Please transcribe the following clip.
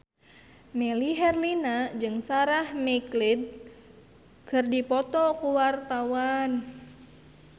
Melly Herlina jeung Sarah McLeod keur dipoto ku wartawan